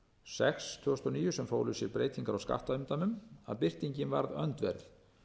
sex tvö þúsund og níu sem fólu í sér breytingar á skattumdæmum að breytingin varð öndverð